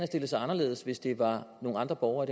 stillet sig anderledes hvis det var nogle andre borgere